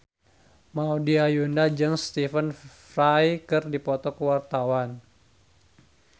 Maudy Ayunda jeung Stephen Fry keur dipoto ku wartawan